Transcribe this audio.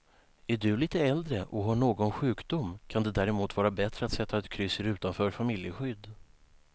Är du lite äldre och har någon sjukdom kan det därmot vara bättre att sätta ett kryss i rutan för familjeskydd.